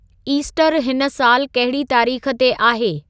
ईस्टरु हिन सालु कहिड़ी तारीख़ ते आहे